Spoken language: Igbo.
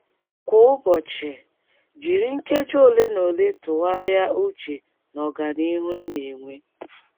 Kwa ụbọchị, jiri nkeji ole na ole tụgharịa uche n’ọganihu ị na - enwe.